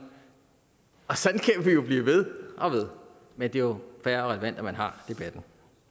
vi jo blive ved og ved men det er jo fair og relevant at man har debatten